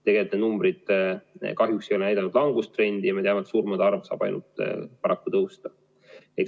Tegelikult need numbrid kahjuks ei ole näidanud langustrendi ja me teame, et surmade arv saab paraku ainult tõusta.